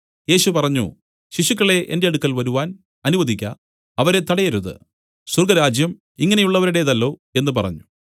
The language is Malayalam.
യേശു പറഞ്ഞു ശിശുക്കളെ എന്റെ അടുക്കൽ വരുവാൻ അനുവദിക്ക അവരെ തടയരുത് സ്വർഗ്ഗരാജ്യം ഇങ്ങനെയുള്ളവരുടേതല്ലോ എന്നു പറഞ്ഞു